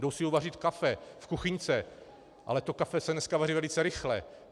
Jdou si uvařit kafe v kuchyňce, ale to kafe se dneska vaří velice rychle.